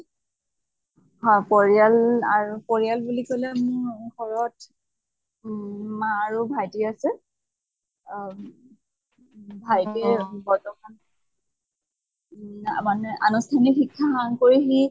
হয় পৰিয়াল আৰু পৰিয়াল বুলি কʼলে মোৰ ঘৰত উম মা আৰু ভাইটি আছে অম ভাইটি বৰ্তমান মানে আনিষ্ঠানিক শিক্ষা সাং কৰি সি